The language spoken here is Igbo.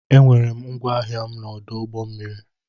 E nwere m ngwa ahịa na ọdụ ụgbọ mmiri.